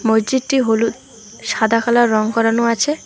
মসজিদটি হল সাদা কালার রং করানো আছে।